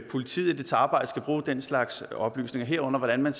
politiet i dets arbejde skal bruge den slags oplysninger herunder hvordan man